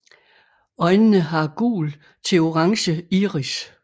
Øjnene har gul til orange iris